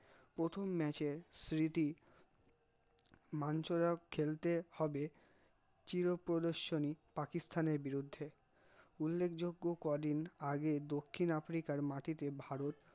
প্রথম match এর মাঞ্চলক খেলতে হবে, চির প্রদর্শনি পাকিস্তানের বিরূদ্ধে উললেকযজ্ঞ কদিন আগে দক্ষিণ আদ্রিকার মাটিটে ভারত